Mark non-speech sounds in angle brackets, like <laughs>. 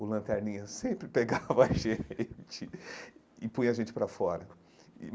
O lanterninha sempre pegava <laughs> a gente e punha a gente para fora.